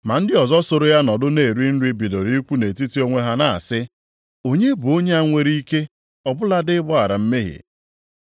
Ma ndị ọzọ soro ya nọdụ na-eri nri bidoro ikwu nʼetiti onwe ha na-asị, “Onye bụ onye a nwere ike ọ bụladị ịgbaghara mmehie?”